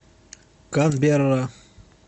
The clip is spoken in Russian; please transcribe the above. канберра